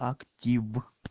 актив